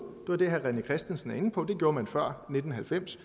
var det herre rené christensen var inde på det gjorde man før nitten halvfems